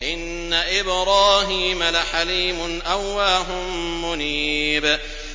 إِنَّ إِبْرَاهِيمَ لَحَلِيمٌ أَوَّاهٌ مُّنِيبٌ